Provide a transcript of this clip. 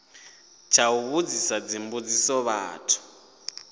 tsha u vhudzisa dzimbudziso muthu